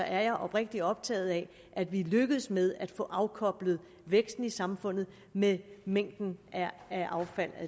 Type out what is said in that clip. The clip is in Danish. er jeg oprigtig optaget af at vi lykkes med at få afkoblet væksten i samfundet med mængden af affald